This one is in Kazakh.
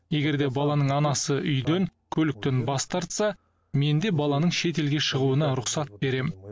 егер де баланың анасы үй мен көлікті дауламаса мен де баланың шетелге шығуына рұқсат беремін